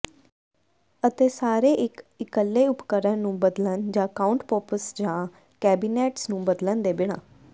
ਅਤੇ ਸਾਰੇ ਇੱਕ ਇੱਕਲੇ ਉਪਕਰਣ ਨੂੰ ਬਦਲਣ ਜਾਂ ਕਾਉਂਟਪੌਪਸ ਜਾਂ ਕੈਬੀਨੈਟਸ ਨੂੰ ਬਦਲਣ ਦੇ ਬਿਨਾਂ